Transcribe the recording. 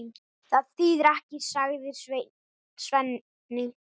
Það þýðir ekkert, sagði Svenni.